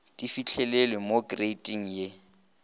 di fihlelelwe mo kreiting ye